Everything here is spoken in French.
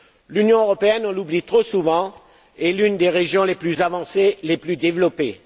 L'Union européenne on l'oublie trop souvent est l'une des régions les plus avancées et les plus développées.